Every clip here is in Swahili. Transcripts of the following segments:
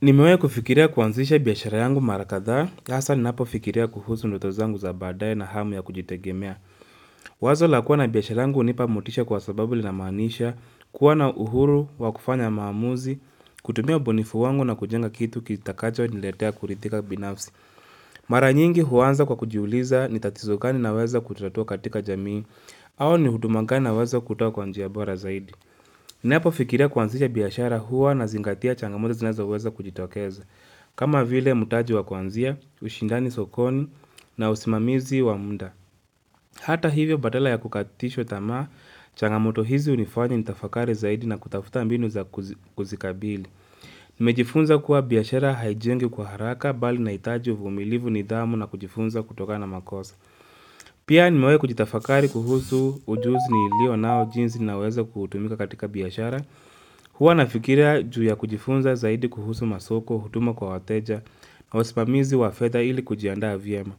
Nimewahi kufikiria kuanzisha biashara yangu mara kadhaa, haswa ninapo fikiria kuhusu ndoto zangu za badae na hamu ya kujitegemea. Wazo la kua na biashara yangu hunipa motisha kwa sababu linamaanisha, kuwa na uhuru, wakufanya maamuzi, kutumia ubunifu wangu na kujenga kitu kitakacho niletea kuridhika binafsi. Mara nyingi huanza kwa kujiuliza ni tatizo gani naweza kutatua katika jamii, au ni huduma gani naweza kutoa kwa njia bora zaidi. Ninapo fikiria kuanzisha biashara hua nazingatia changamoto zinazoweza kujitokeza. Kama vile mutaji wakwanzia, ushindani sokoni na usimamizi wa muda Hata hivyo badala ya kukatishwa tamaa changamoto hizi hunifanya nitafakari zaidi na kutafuta mbinu za kuzikabili Nimejifunza kuwa biashara haijengwi kwa haraka bali inahitaji umilivu nithamu na kujifunza kutokana na makosa Pia nimewai kujitafakari kuhusu ujuzi nilio nao jinsi naweza kuutumia katika biashara Hua nafikiria juu ya kujifunza zaidi kuhusu masoko, huduma kwa wateja na usimamizi wafedha ili kujiaanda vyema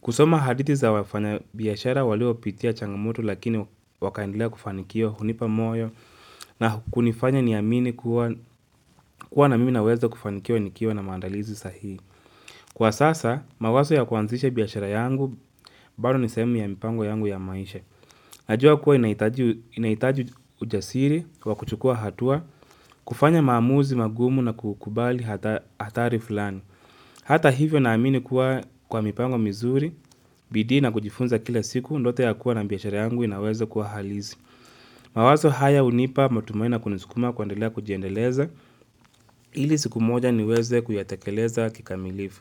kusoma hadithi za wafanyabiashara waliopitia changamoto lakini wakaendelea kufanikiwa hunipa moyo na kunifanya niamini kuwa na mimi naweza kufanikiwa nikiwa na maandalizi sahii Kwa sasa, mawazo ya kuanzisha biashara yangu, bado nisehemu ya mipango yangu ya maisha Najua kuwa inahitaji ujasiri, wakuchukua hatua, kufanya maamuzi magumu na kukubali hatari fulani. Hata hivyo naamini kuwa kwa mipango mizuri, bidia n a kujifunza kila siku, ndoto ya kua na biashara yangu inaweze kuwa halisi. Mawazo haya hunipa matumaini kunisukuma kuendelea kujiendeleza, ili siku moja niweze kuyatekeleza kikamilifu.